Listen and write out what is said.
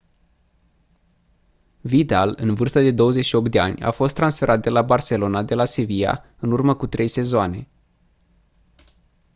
vidal în vârstă de 28 de ani a fost transferat la barcelona de la sevilla în urmă cu trei sezoane